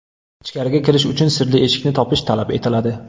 Ichkariga kirish uchun sirli eshikni topish talab etiladi.